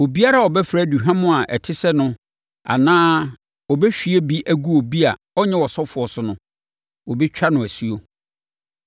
Obiara a ɔbɛfra aduhwam a ɛte sɛ no anaa ɔbɛhwie bi agu obi a ɔnyɛ ɔsɔfoɔ so no, wɔbɛtwa no asuo.’ ”